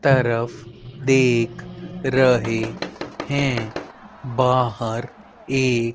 तरफ देख रहे हैं बाहर एक--